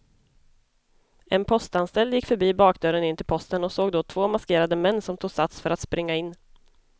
En postanställd gick förbi bakdörren in till posten och såg då två maskerade män som tog sats för att springa in.